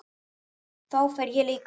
Þá fer ég líka heim